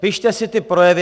Pište si ty projevy.